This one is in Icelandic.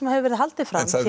hefur verið haldið fram í